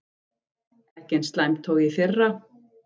Ekki eins slæmt og í fyrra